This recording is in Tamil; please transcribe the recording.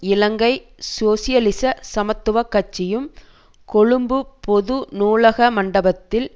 இலங்கை சோசியலிச சமத்துவ கட்சியும் கொழும்பு பொது நூலக மண்டபத்தில்